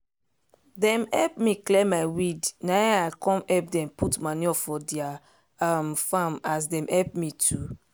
dem help me clear my weed na i come help dem put manure for their um farm as dem help me too